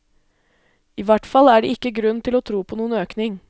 I hvert fall er det ikke grunn til å tro på noen økning.